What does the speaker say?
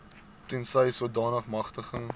tensy sodanige magtiging